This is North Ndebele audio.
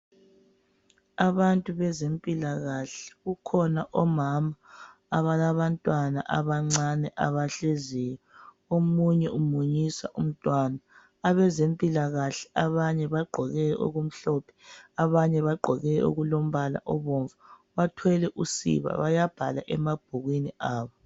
Abantu bezempilakahle .Kukhona omama abalabantwana abancane abahleziyo .Omunye umunyisa umntwana .Abezempilakahle abanye bagqoke okumhlophe abanye bagqoke okulombala obomvu bathwele usiba .Bayabhala emabhukwini abo .